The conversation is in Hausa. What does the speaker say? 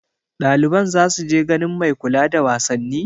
Ɗaliban za su je ganin mai kula da wasanni?